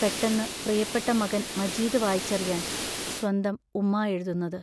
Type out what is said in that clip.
പെട്ടെന്നു പ്രിയപ്പെട്ട മകൻ മജീദ് വായിച്ചറിയാൻ സ്വന്തം ഉമ്മാ എഴുതുന്നത്.